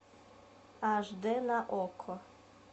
аш д на окко